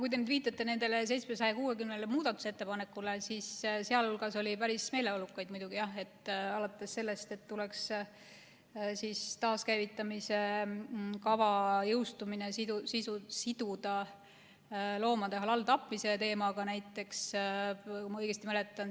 Kui te nüüd viitate nendele 760 muudatusettepanekule, siis seal hulgas oli päris meeleolukaid, jah, alates sellest, et taaskäivitamise kava jõustumine tuleks siduda loomade halāl‑tapmise teemaga, näiteks, kui ma õigesti mäletan.